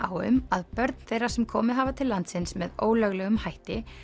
á um að börn þeirra sem komið hafa til landsins með ólöglegum hætti